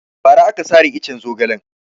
Ba ra aka sare iccen zogalen